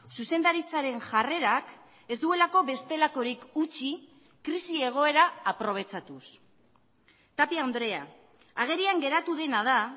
zuzendaritzaren jarrerak ez duelako bestelakorik utzi krisi egoera aprobetxatuz tapia andrea agerian geratu dena da